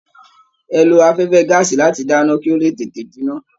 Ẹ̀ ló afẹfẹ gàásí láti dáná kí o le tètè jinná.